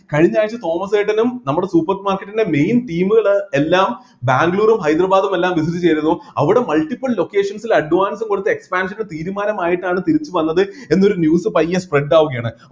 കഴിഞ്ഞ ആഴ്ച്ച തോമസ് ഏട്ടനും നമ്മുടെ supermarket ൻ്റെ main team കള് എല്ലാം ബാംഗ്ളൂരും ഹൈദരാബാദും എല്ലാം business ചെയ്‌തതു അവിടെ multiple locations ൽ advance ഉം കൊടുത്ത് expansion ന് തീരുമാനം ആയിട്ടാണ് തിരിച്ചുവന്നത് എന്നൊരു news പയ്യെ spread ആവുകയാണ്